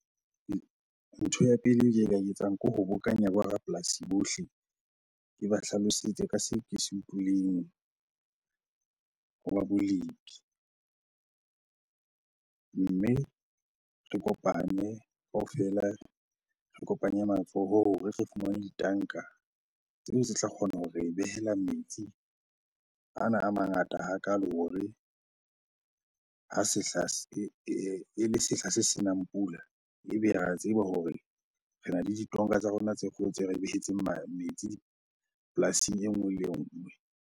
Ntho ya pele e ke ka e etsang ke ho bokanya bo rapolasi bohle, ke ba hlalosetse ka seo ke se utlwileng ho ba bolepi. Mme re kopane kaofela, re kopanye matsoho hore re fumane ditanka tseo tse tla kgona hore behela metsi ana a mangata hakalo hore ha sehla e le sehla se senang pula ebe re a tseba hore rena le ditonka tsa rona tse kgolo tse re behetseng metsi polasing e nngwe le e nngwe.